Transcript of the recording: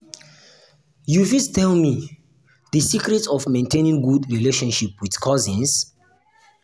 you fit tell me di tell me di secret of maintaining good relationship with cousins?